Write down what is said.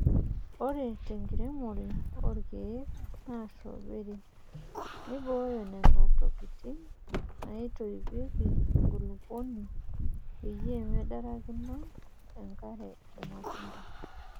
Ore tenkiremore oorkieek enaa strawberie, neibooyo nena tokitin naitoipieki enkulupuoni peyie mendarakinoto enkare irmatunda.